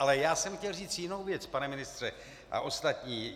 Ale já jsem chtěl říct jinou věc, pane ministře a ostatní.